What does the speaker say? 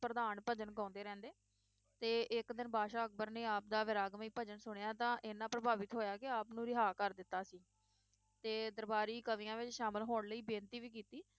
ਪ੍ਰਧਾਨ ਭਜਨ ਗਾਉਂਦੇ ਰਹਿੰਦੇ ਤੇ ਇਕ ਦਿਨ ਬਾਦਸ਼ਾਹ ਅਕਬਰ ਨੇ ਆਪ ਦਾ ਵੈਰਾਗਮਈ ਭਜਨ ਸੁਣਿਆ ਤਾਂ ਇਹਨਾਂ ਪ੍ਰਭਾਵਿਤ ਹੋਇਆ ਕਿ ਆਪ ਨੂੰ ਰਿਹਾ ਕਰ ਦਿੱਤਾ ਸੀ ਤੇ ਦਰਬਾਰੀ ਕਵੀਆਂ ਵਿਚ ਸ਼ਾਮਿਲ ਹੋਣ ਲਈ ਬੇਨਤੀ ਵੀ ਕੀਤੀ